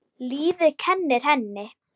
Lífið kennir henni.